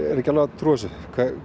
ekki alveg að trúa þessu